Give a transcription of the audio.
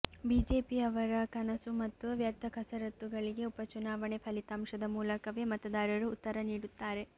ಬಿಜೆಪಿಯವರ ಕನಸು ಮತ್ತು ವ್ಯರ್ಥ ಕಸರತ್ತುಗಳಿಗೆ ಉಪಚುನಾವಣೆ ಫಲಿತಾಂಶದ ಮೂಲಕವೇ ಮತದಾರರು ಉತ್ತರ ನೀಡುತ್ತಾರೆ